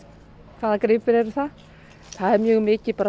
hvaða gripir eru það það er mjög mikið bara